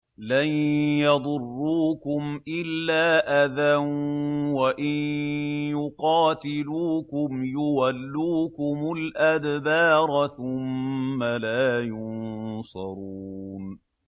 لَن يَضُرُّوكُمْ إِلَّا أَذًى ۖ وَإِن يُقَاتِلُوكُمْ يُوَلُّوكُمُ الْأَدْبَارَ ثُمَّ لَا يُنصَرُونَ